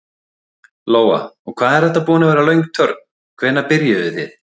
Lóa: Og hvað er þetta búin að vera löng törn, hvenær byrjuðuð þið?